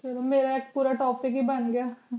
ਚਲੋ ਮੇਰਾ ਇਕ ਪੂਰਾ topic ਹੀ ਬੰਗਿਆਂ